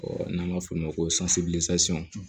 n'an b'a f'o ma ko